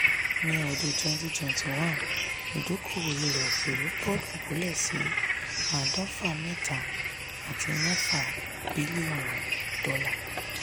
ni ọdún twenty twenty one idokowo ilẹ̀-òkèèrè bọ̀ dúbúlẹ̀ sí adofa mẹta àti mẹfa bílíò̀nù dola.